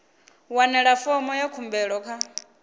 wane fomo ya khumbelo kha